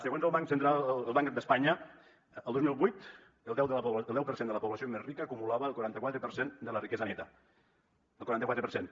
segons el banc d’espanya el dos mil vuit el deu per cent de la població més rica acumulava el quaranta quatre per cent de la riquesa neta el quaranta quatre per cent